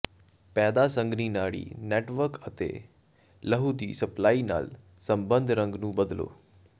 ਪੈਦਾ ਸੰਘਣੀ ਨਾੜੀ ਨੈੱਟਵਰਕ ਅਤੇ ਲਹੂ ਦੀ ਸਪਲਾਈ ਨਾਲ ਸਬੰਧਤ ਰੰਗ ਨੂੰ ਬਦਲੋ